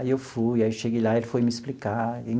Aí eu fui, aí eu cheguei lá, ele foi me explicar.